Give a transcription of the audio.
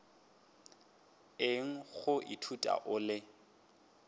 eng go ithuta o le